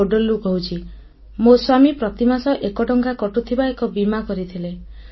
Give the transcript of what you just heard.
ମୁଁ ବୋଡଲ୍ରୁ କହୁଛି ମୋ ସ୍ୱାମୀ ପ୍ରତିମାସ ଏକଟଙ୍କା କଟୁଥିବା ଏକ ବୀମା କରିଥିଲେ